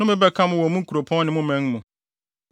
Nnome bɛka mo wɔ mo nkuropɔn ne mo man mu.